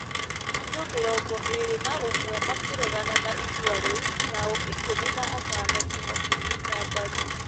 Andũ mĩrongo ĩrĩ na ũmwe makĩregana na itua rĩu nao ikũmi na atano tu makĩnyita mbaru.